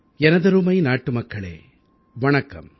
எனதருமை நாட்டுமக்களே வணக்கம்